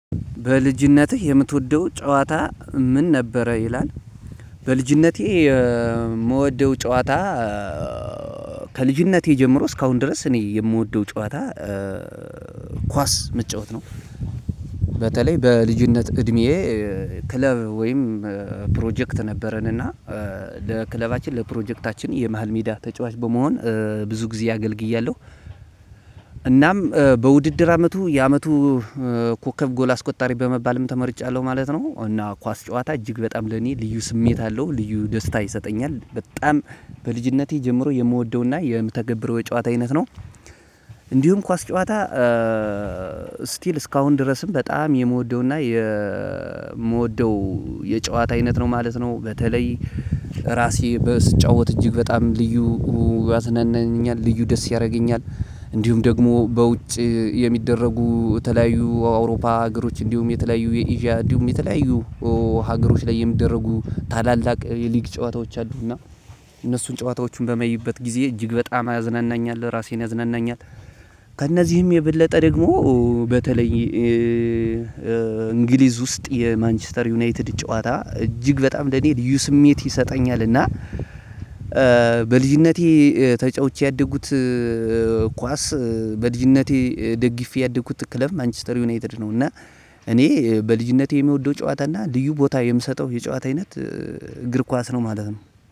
በልጅነትህ የምትወደው ጨዋታ ምን ነበረ ይላል? በልጅነቴ የምወደው ጨዋታ ከልጅነቴ ጀምሮ እስካሁን ድረስ እኔ የምወደው ጨዋታ ኳስ መጫወት ነው። በተለይ በልጅነት እድሜዬ ክለብ ወይም ፕሮጀክት ነበረን እና ለክለባችን ለፕሮጀክታችን የመሃል ሜዳ ተጫዋች በመሆን ብዙ ጊዜ አገልግያለሁ። እናም በውድድር አመቱ የአመቱ ኮከብ ጎል አስቆጣሪ በመባልም ተመርጫለሁ ማለት ነው። እና ኳስ ጨዋታ እጅግ በጣም ለኔ ልዩ ስሜት አለው ልዩ ደስታ ይሰጠኛል። በጣም በልጅነቴ ጀምሮ የምወደውና የምተገብረው የጨዋታ አይነት ነው። እንዲሁም ኳስ ጨዋታ ስቲል እስካሁን ድረስም በጣም የምወደውና የምወደው የጨዋታ አይነት ነው ማለት ነው። በተለይ ራሴ በስጫወት እጅግ በጣም ልዩ ያዝናናኛል ልዩ ደስ ያደርገኛል። እንዲሁም ደግሞ በውጪ የሚደረጉ የተለያዩ አውሮፓ ሀገሮች እንዲሁም የተለያዩ የአዥያ እንዲሁም የተለያዩ ሀገሮች ላይ የሚደረጉ ታላላቅ የልግ ጫዎታዎች አሉና እነሱን ጫዎታዎች በማይበት ጊዜ እጅግ በጣም ያዝናናኛል እራሴን ያዝናናኛል። ከእነዚህም የበለጠ ደግሞ በተለይ እንግሊዝ ውስጥ የማንችስተር ዩናይትድ ጨዋታ እጅግ በጣም ለእኔ ስሜት ይሰጠኛል። እና በልጅነቴ ተጫውቼ ያደጉት ኳስ በልጅነቴ ደግፌ ያደግኩት ክለብ ማንችስተር ዩናይትድ ነው። እና እኔ በልጅነቴ የሚወደው ጨዋታ እና ልዩ ቦታ የምሰጠው የጨዋታ አይነት እግር ኳስ ነው ማለት ነው።